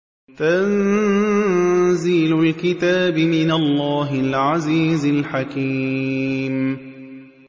تَنزِيلُ الْكِتَابِ مِنَ اللَّهِ الْعَزِيزِ الْحَكِيمِ